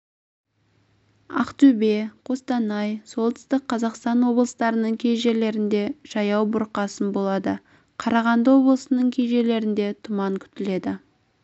ақтөбе қостанай солтүстік қазақстан облыстарының кей жерлерінде жаяу бұрқасын болады қарағанды облысының кей жерлерінде тұман күтіледі